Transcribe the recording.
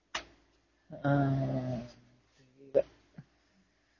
ஆஹ்